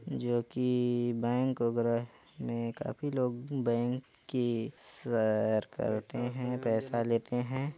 जोकि बैंक वगैरा में काफी लोग बैंक की सैर करते है पैसा लेते है।